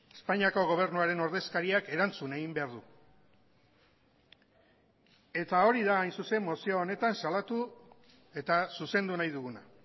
espainiako gobernuaren ordezkariak erantzun egin behar du eta hori da hain zuzen mozio honetan salatu eta zuzendu nahi duguna